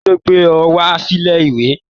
Kilo gbé ọ wá silè ìwé?